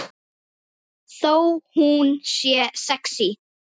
Þó hún sé sexí.